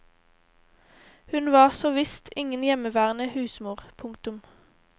Hun var så visst ingen hjemmeværende husmor. punktum